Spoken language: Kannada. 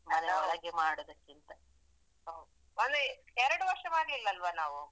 ಅದೌದು. ಹೌದು ಮೊನ್ನೆ ಎರಡು ವರ್ಷ ಮಾಡ್ಲಿಲ್ಲ ಅಲ್ವ ನಾವು?